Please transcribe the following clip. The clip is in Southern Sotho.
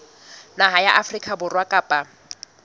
naha ya afrika borwa kapa